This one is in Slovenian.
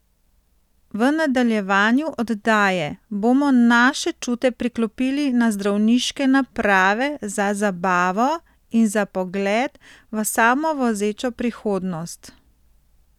V nadaljevanju oddaje bomo naše čute priklopili na zdravniške naprave za zabavo in za pogled v samovozečo prihodnost.